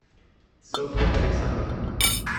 софья александровна